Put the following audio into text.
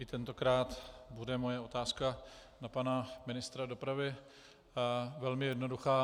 I tentokrát bude moje otázka na pana ministra dopravy velmi jednoduchá.